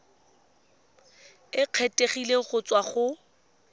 e kgethegileng go tswa go